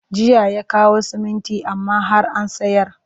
Jiya ya kawo siminti amma har an sayar